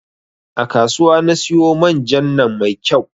A kasuwa na siyo man jan nan mai kyau